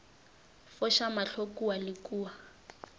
foša mahlo kua le kua